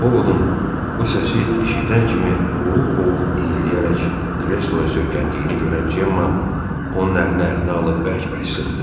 Ovodun bu səsi eşidən kimi boğuq-boğuq inləyərək kresloya söykəndiyini görən Cemma onun əlini əlinə alıb bərk-bərk sıxdı.